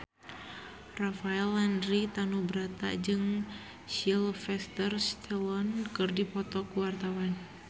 Rafael Landry Tanubrata jeung Sylvester Stallone keur dipoto ku wartawan